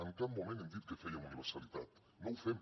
en cap moment hem dit que fèiem universalitat no ho fem